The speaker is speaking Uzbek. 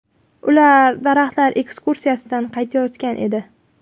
Ular daraxtlar ekskursiyasidan qaytayotgan edi.